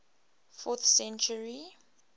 fourth century